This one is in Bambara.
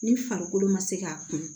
Ni farikolo ma se k'a kun